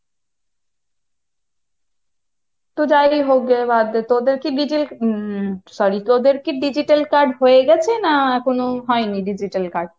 তো যাই হোক বাদ দে, তোদের কি হম sorry তোদের কী digital card হয়ে গেছে না এখনো হয়নি digital card?